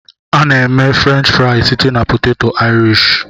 A na-eme Frenchị friz site na-poteto Irishi.